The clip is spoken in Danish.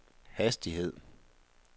hastighed